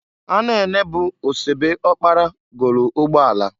Anene bụ osebe ọkpara golu ụgbọ ala.